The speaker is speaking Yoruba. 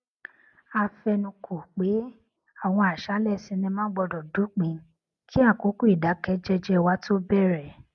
a fẹnukò pé àwọn àṣálẹ sinimá gbódò dópin kí àkókò ìdákẹ jẹjẹ wa tó bèrè